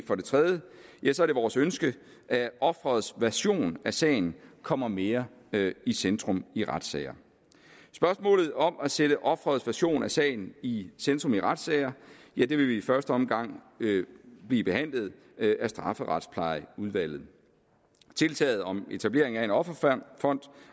for det tredje vores ønske at offerets version af sagen kommer mere i centrum i retssager spørgsmålet om at sætte offerets version af sagen i centrum i retssager vil i første omgang blive behandlet af strafferetsplejeudvalget tiltaget om etablering af en offerfond